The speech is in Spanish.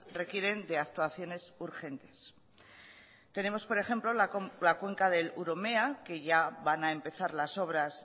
requieren de actuaciones urgentes tenemos por ejemplo la cuenca del urumea que ya van a empezar las obras